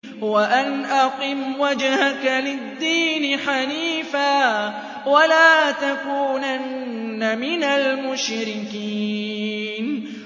وَأَنْ أَقِمْ وَجْهَكَ لِلدِّينِ حَنِيفًا وَلَا تَكُونَنَّ مِنَ الْمُشْرِكِينَ